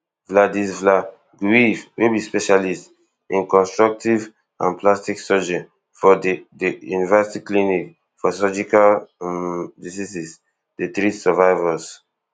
vladislav gruev wey be specialist in reconstructive and plastic surgery for di di university clinic for surgical um diseases dey treat survivors